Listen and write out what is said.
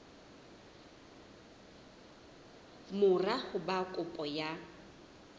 mora ho ba kopo ya